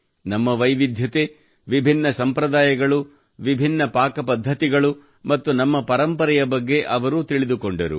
ನಮ್ಮ ವೈವಿಧ್ಯತೆ ವಿಭಿನ್ನ ಸಂಪ್ರದಾಯಗಳು ವಿಭಿನ್ನ ಪಾಕಪದ್ಧತಿಗಳು ಮತ್ತು ನಮ್ಮ ಪರಂಪರೆಯ ಬಗ್ಗೆ ಅವರು ತಿಳಿದುಕೊಂಡರು